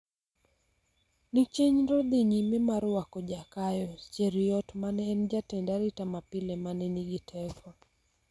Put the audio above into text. ni chenro dhi nyime mar rwako Jakayo Cheruiyot mane en jatend arita mapile mane nigi teko